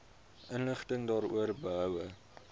inligting daaroor behoue